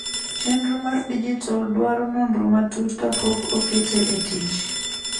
chenro mar dijital dwaro nonro matut kapok okete e tich